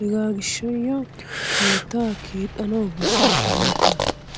Hegaa gishshayoo keettaa keexxanawu beessoos nuunikka.